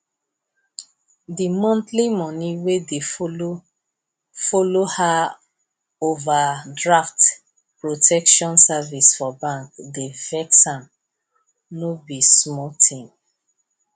the monthly money wey dey follow follow her overdraft protection service for bank dey vex am no be small thing